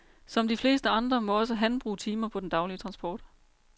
Som de fleste andre må også han bruge timer på den daglige transport.